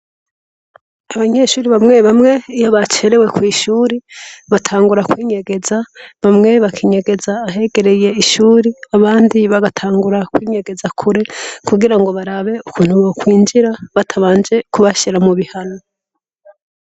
Abanyeshure bamwebamwe iyo bacerwe kw'ishuri, batangura kwinyegeza. Bamwe bakinyegeza ahegereye ishuri, abandi bagatangura kwinyegeza kure kugira ngo barabe ukuntu bokwinjira batabanje kubashira mu bihano.